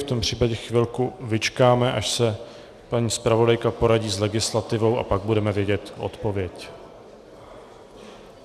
V tom případě chvilku vyčkáme, až se paní zpravodajka poradí s legislativou, a pak budeme vědět odpověď.